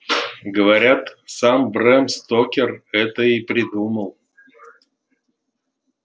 говорят сам брэм стокер это и придумал